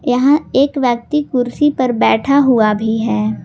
यहां एक व्यक्ति कुर्सी पर बैठा हुआ भी है।